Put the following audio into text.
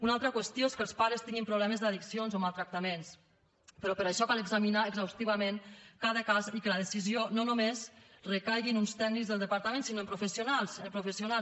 una altra qüestió és que els pares tinguin problemes d’addiccions o maltractaments però per a això cal examinar exhaustivament cada cas i que la decisió no només recaigui en uns tècnics del departament sinó en professionals en professionals